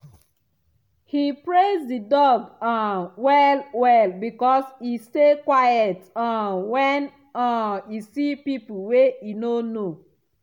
he praise the dog um well well because e stay quiet um when um e see people wey e no know.